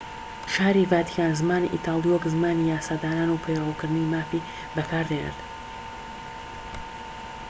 شاری ڤاتیکان زمانی ئیتالی وەک زمانی یاسادانان و پەیوەندیکردنی فەرمی بەکاردێنێت